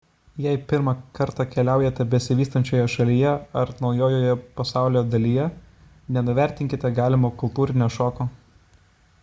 jei pirmą kartą keliaujate besivystančioje šalyje ar naujoje pasaulio dalyje nenuvertinkite galimo kultūrinio šoko